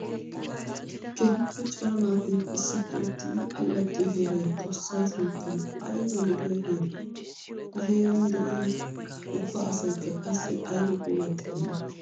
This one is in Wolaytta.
Keehippe cora naati issippe uttiddi allaxxiyo heeray xoosa sunttan aybba lo'iya heere! Ha heeran de'iya ubba asaykka qassi aybba puulatidonna!